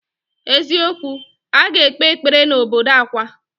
Eziokwu, aga ekpe ekpere na obodo Awka.